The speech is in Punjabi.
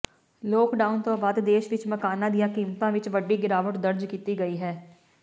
ਲਾਕਡਾਊਨ ਤੋਂ ਬਾਅਦ ਦੇਸ਼ ਵਿਚ ਮਕਾਨਾਂ ਦੀਆਂ ਕੀਮਤਾਂ ਵਿਚ ਵੱਡੀ ਗਿਰਾਵਟ ਦਰਜ ਕੀਤੀ ਗਈ ਹੈ